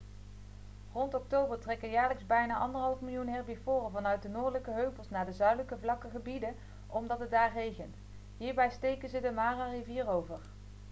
rond oktober trekken jaarlijks bijna 1,5 miljoen herbivoren vanuit de noordelijke heuvels naar de zuidelijke vlakke gebieden omdat het daar regent hierbij steken ze de mara-rivier over